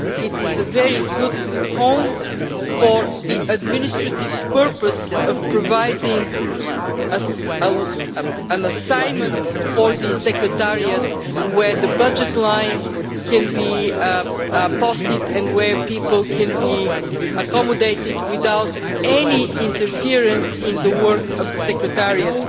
It is a very good home for the administrative purpose of providing an assignment for the Secretariat where the budget line can be apostate and where people can be accommodated without any interference in the work of the Secretariat.